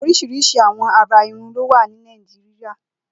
Óriṣiriṣi awọn àrà irùn ló wà ni Nàijiriá